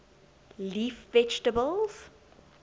leaf vegetables